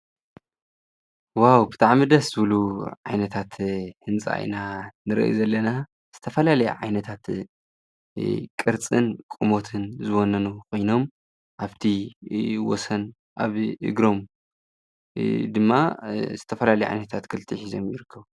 ዋው ብትዓም ደስ ብሉ ዓይነታት ሕንፃኢና ንርኢ ዘለና ዝተፈላል ዓይነታት ቕርጽን ቆሙትን ዝወነኑ ኾይኖም ኣብቲ ወሰን ኣብ ግሮም ድማ ዝተፈላል ዓይነታት ግልጢሕ ዘምይርገ